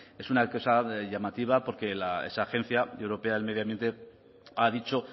es una cosa de llamativa porque la esa agencia europea del medio ambiente ha dicho